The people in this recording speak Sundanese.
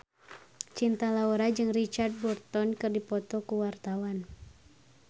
Cinta Laura jeung Richard Burton keur dipoto ku wartawan